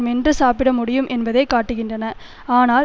மென்று சாப்பிட முடியும் என்பதையே காட்டுகின்றன ஆனால்